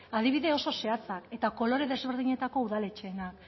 adibide oso zehatzak eta kolore desberdinetako udaletxeena